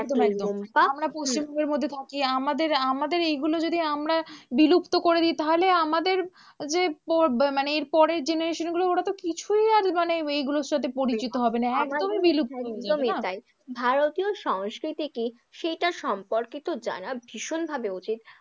যে মানে এর পরের generation গুলো ওরা তো কিছুই আর মানে এইগুলোর সাথে পরিচিত হবে না, একদমই বিলুপ্ত হয়ে যাবে, একদমই তাই ভারতীয় সংস্কৃতি সেইটা সম্পর্কিত জানা ভীষণভাবে উচিত।